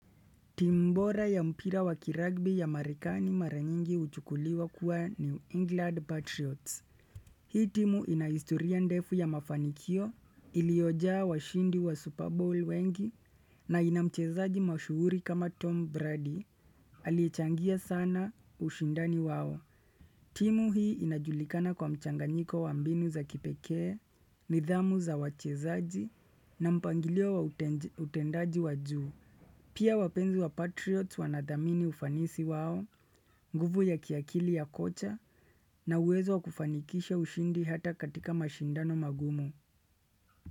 Timu bora ya mpira wakiragbi ya marekani mara nyingi huchukuliwa kuwa New England Patriots. Hii timu inahistoria ndefu ya mafanikio, iliojaa washindi wa Super Bowl wengi, na inamchezaji mashuhuri kama Tom Brady, aliyechangia sana ushindani wao. Timu hii inajulikana kwa mchanganyiko wa mbinu za kipekee, nidhamu za wachezaji, na mpangilio wa utendaji wa juu. Pia wapenzi wa patriots wanadhamini ufanisi wao, nguvu ya kiakili ya kocha na uwezo kufanyikisha ushindi hata katika mashindano magumu.